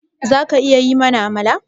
Zaka iya yi mana Amala?